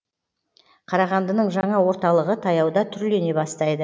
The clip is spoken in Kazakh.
қарағандының жаңа орталығы таяуда түрлене бастайды